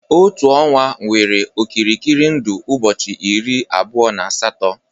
Otu ọnwa nwere okirikiri ndụ ụbọchị iri abụọ na asatọ